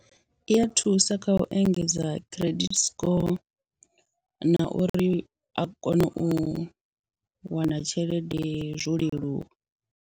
I a thusa kha u engedza credit score na uri a kone u wana tshelede zwo leluwa.